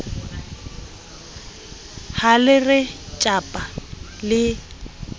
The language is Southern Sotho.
ha le re tjhapa le